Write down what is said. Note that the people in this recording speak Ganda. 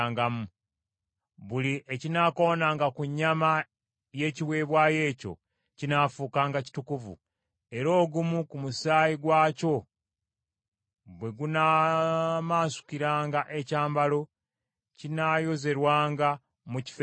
Buli ekinaakoonanga ku nnyama y’ekiweebwayo ekyo, kinaafuukanga kitukuvu; era ogumu ku musaayi gwakyo bwe gunaamansukiranga ekyambalo, kinaayozerwanga mu kifo ekitukuvu.